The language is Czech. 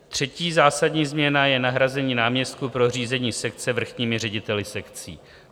Třetí zásadní změna je nahrazení náměstků pro řízení sekce vrchními řediteli sekcí.